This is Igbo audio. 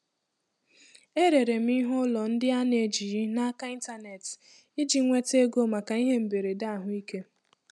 E rere m ihe ụlọ ndị a na-ejighị n'aka n'ịntanetị iji nweta ego maka ihe mberede ahụike.